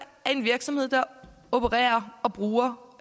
af en virksomhed der opererer og bruger